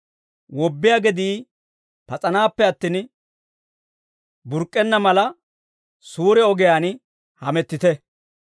Wobbiyaa gedii pas'anaappe attin, burk'k'enna mala, suure ogiyaan hamettite.